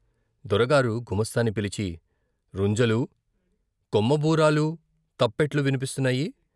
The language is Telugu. దొరగారు గుమాస్తాని పిలిచి రుంజలూ, కొమ్ముబూరాలు, తప్పెట్లు విన్పిస్తున్నాయి.